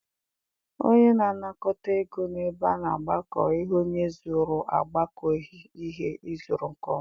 Onye na-anakọta ego na ebe a na-agbakọ ihe onye zụrụ agbakọghị ihe ị zụrụ nke ọma.